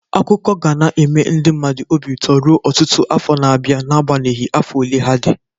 Akụkọ ga na-eme ndị mmadụ obi ụtọ ruo ọtụtụ afọ na-abịa n'agbanyeghi afọ ole ha dị.